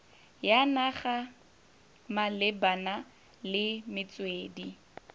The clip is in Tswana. ya naga malebana le metswedi